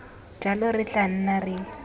jalo re tla nna re